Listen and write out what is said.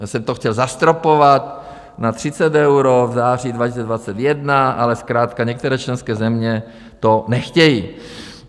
Já jsem to chtěl zastropovat na 30 eur v září 2021, ale zkrátka některé členské země to nechtějí.